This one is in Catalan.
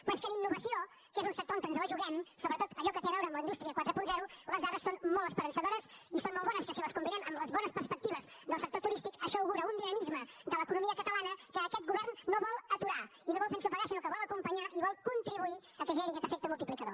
però és que en innovació que és un sector on ens la juguem sobretot allò que té a veure amb la indústria quaranta les dades són molt esperançadores i són molt bones que si les combinem amb les bones perspectives del sector turístic això augura un dinamisme de l’economia catalana que aquest govern no vol aturar i no vol fer ensopegar sinó que vol acompanyar i vol contribuir que generi aquest efecte multiplicador